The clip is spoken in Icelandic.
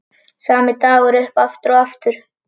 Sami dagur upp aftur og aftur.